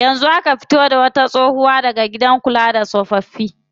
Yanzu aka fito da wata tsohuwa daga gidan kula da tsofaffi.